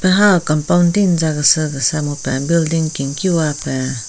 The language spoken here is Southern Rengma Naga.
Han compound ti nza kese kesa mupen building kenkiwa pen.